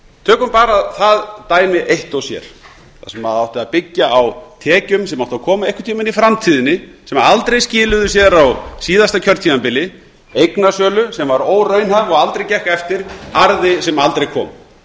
tökum bara það dæmi eitt og sér þar sem átti að byggja á tekjum sem áttu að koma einhvern tímann í framtíðinni sem aldrei skiluðu sér á síðasta kjörtímabili eignasölu sem var óraunhæf og aldrei gekk eftir arði sem aldrei kom